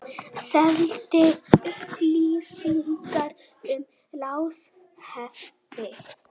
Seldi upplýsingar um lánshæfi